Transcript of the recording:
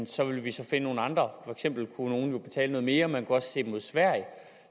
så ville finde nogle andre for eksempel kunne nogle jo betale noget mere og man kunne også se mod sverige